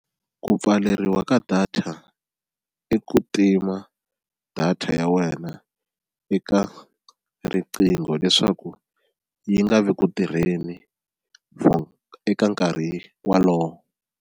Ku pfaleriwa ka data i ku tima data ya wena eka riqingho leswaku yi nga vi ku tirheni for eka nkarhi wolowo.